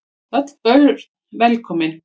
Öll börn velkomin.